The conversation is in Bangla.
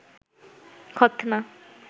খৎনা